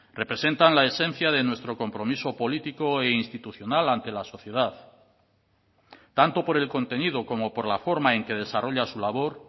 representan la esencia de nuestro compromiso político e institucional ante la sociedad tanto por el contenido como por la forma en que desarrolla su labor